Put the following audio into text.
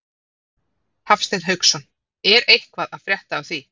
Hafsteinn Hauksson: Er eitthvað að frétta af því?